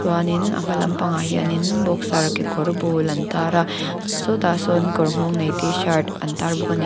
in a hma lampang ah hian in boxer kekawrbul an tar a sawtah sawn kawr nghawng nei tshirt an tar bawk a ni.